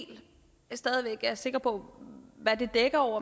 sikre på hvad det dækker over